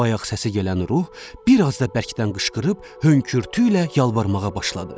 Bayaq səsi gələn ruh bir az da bərkdən qışqırıb hönkürtüylə yalvarmağa başladı.